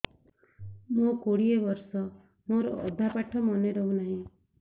ମୋ କୋଡ଼ିଏ ବର୍ଷ ମୋର ଅଧା ପାଠ ମନେ ରହୁନାହିଁ